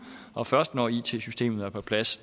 og først når it systemet er på plads